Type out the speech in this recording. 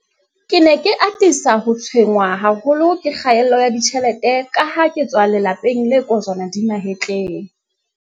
Ke ne ke atisa ho tshwenngwa haholo ke kgaello ya ditjhelete kaha ke tswa lelape ng le kojwana di mahetleng.